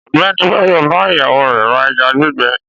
Ọ̀gbẹ́ni Báyò bá ìyàwó rẹ̀ ra ẹja gbígbẹ.